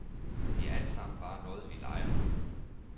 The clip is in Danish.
Det er altsammen bare noget, vi leger.